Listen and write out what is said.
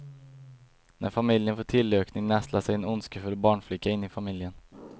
När familjen får tillökning nästlar sig en ondskefull barnflicka in i familjen.